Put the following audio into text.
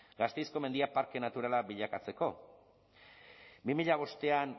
gasteizko mendiak parke naturala bilakatzeko bi mila bostean